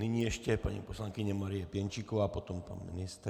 Nyní ještě paní poslankyně Marie Pěnčíková, potom pan ministr.